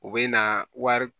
U bɛ na wari